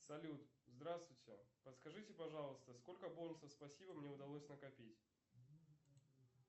салют здравствуйте подскажите пожалуйста сколько бонусов спасибо мне удалось накопить